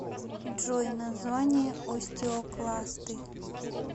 джой название остеокласты